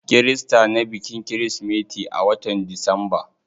Kirista na bikin kirismeti a watan disamba.